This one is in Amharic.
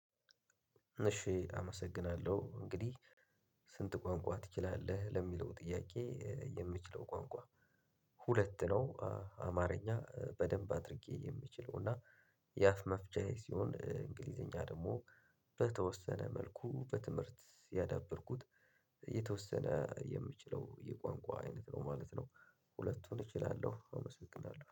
እሺ አመሰግናለሁ እንግዲህ ስንት ቋንቋ ትችላለህ ለሚለው ጥያቄ? የምችለው ቋንቋ ሁለት ነው አማርኛ በደንብ አድርጌ የምችለው። የአፍ መፍቻዬ ሲሆን እንግሊዘኛ ደግሞ በተወሰነ መልኩ በትምህርት ያዳበርኩት የተወሰነ የምችለው የቋንቋ አይነት ነው ማለት ነው። ሁለቱን እችላለሁ አመሰግናለሁ